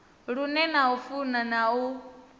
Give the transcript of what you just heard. lune na funa na u